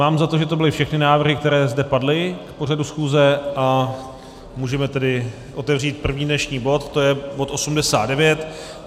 Mám za to, že to byly všechny návrhy, které zde padly k pořadu schůze, a můžeme tedy otevřít první dnešní bod, to je bod